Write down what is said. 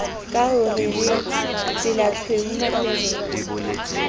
ka ho re tselatshweu matebele